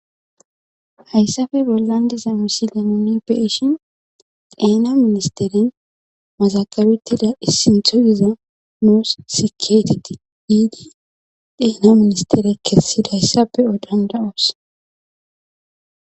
hayssafe bollandiza misila monipeshin dheena ministeren mazakabettida issinthoziza muus seketeti giidi dheena ministere kessidayssape odanda oos